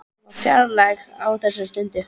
Hún var fjarlæg á þessari stundu.